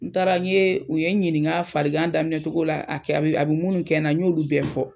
N taara n yee u ye ɲininka farigan daminɛ cogo la a kɛ a be a be munnu kɛ na n y'olu bɛɛ fɔ.